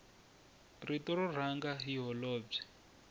rito ro rhanga hi holobye